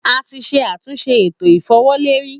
A ti ṣe atunṣe eto ifowoleri.